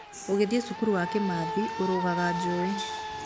ũgĩthiĩ cukuru ya Kimathi ũriganga njũĩ.